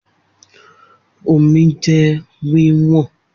Omi jẹ wí wọn